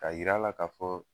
Ka yira la ka fɔ